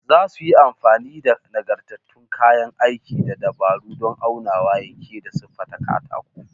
Za su yi amfani da nagartattun kayan aiki da dabaru don aunawa, yanke, da siffata katako